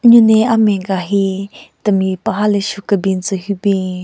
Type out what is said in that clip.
n-nyu ne amen ka hi temi paha le shu kebin tsü hyu bin.